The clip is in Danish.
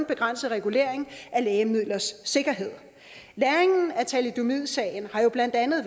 begrænset regulering af lægemidlers sikkerhed læringen af thalidomidsagen har jo blandt andet